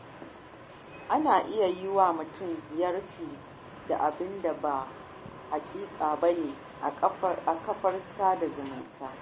Ana iya yiwa mutum yarfe da abinda ba na haƙiƙa bane a kafar sada zumunta.